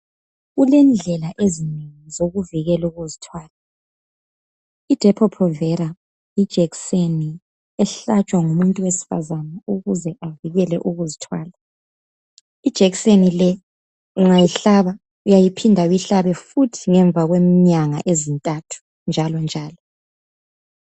Kulendlela ezinengi zokuvikela ukuzithwala. Idepo-provela ijekiseni ehlatshwa ngumuntu wesifazana ukuze avikele ukuzithwala, ijekiseni le ungayihlaba uyaphinda uyihlabe futhi ngemva kwenyanga ezintathu njalonjalo.